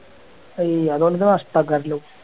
അയ് അതോണ്ട് എന്ത് നഷ്ടാകാറുള്ളു